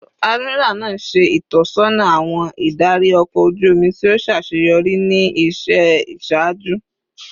Admiral naa ṣe itọsọna awọn idari ọkọ oju omi ti o ṣaṣeyọri ni iṣẹ iṣaaju